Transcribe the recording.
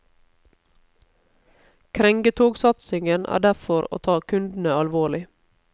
Krengetogsatsingen er derfor å ta kundene alvorlig.